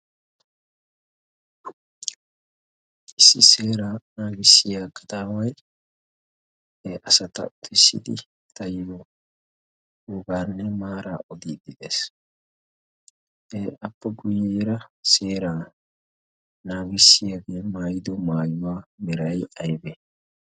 issi seeraa naagissiya qataaway he asata utissidi tayyo gugaarnne maara odiidi dees appa guyyeera seeraa naagissiyaagee maayido maayuwaa beray aybe?